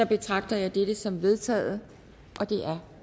betragter jeg dette som vedtaget